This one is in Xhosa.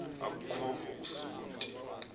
aku khova usonti